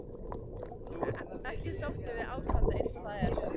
Þú ert ekki sáttur við ástandið eins og það er?